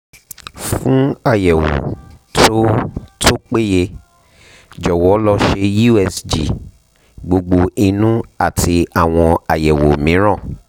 fún àyẹ̀wò tó tó péye jọ̀wọ́ lọ ṣe usg gbogbo inú àti àwọn àyẹ̀wò mìíràn